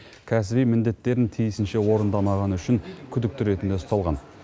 кәсіби міндеттерін тиісінше орындамағаны үшін күдікті ретінде ұсталған